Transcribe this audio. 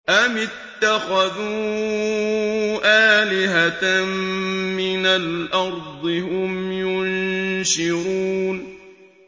أَمِ اتَّخَذُوا آلِهَةً مِّنَ الْأَرْضِ هُمْ يُنشِرُونَ